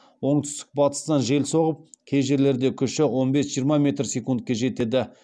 оңтүстік батыстан жел соғып кей жерлерде күші он бес жиырма метр секундке жетеді